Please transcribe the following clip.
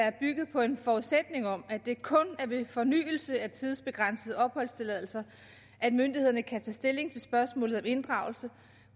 at bygge på en forudsætning om at det kun er ved fornyelse af tidsbegrænsede opholdstilladelser at myndighederne kan tage stilling til spørgsmålet om inddragelse